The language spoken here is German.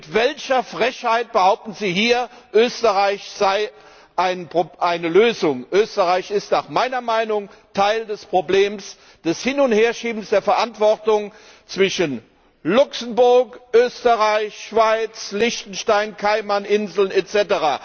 Mit welcher Frechheit behaupten Sie hier, Österreich sei eine Lösung? Österreich ist nach meiner Meinung Teil des Problems des Hin und Herschiebens der Verantwortung zwischen Luxemburg, Österreich, Schweiz, Liechtenstein, Kaimaninseln etc.